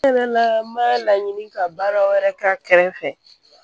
ma laɲini ka baara wɛrɛ kɛ a kɛrɛfɛ